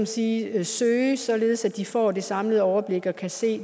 sige søge fast således at de får det samlede overblik og kan se